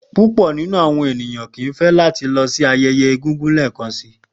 Pupọ ninu awọn eniyan kii yoo fẹ lati lọ si awọn ayẹyẹ egungun lẹẹkansi.